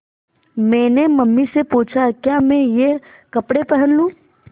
मैंने मम्मी से पूछा क्या मैं ये कपड़े पहन लूँ